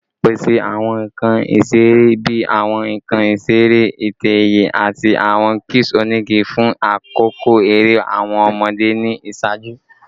Pese awọn nkan isere bii awọn nkan isere itẹ-ẹiyẹ ati awọn cubes onigi fun akoko ere awọn ọmọde ni iṣaaju